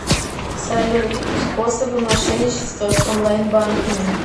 салют способы мошенничества с онлайн банками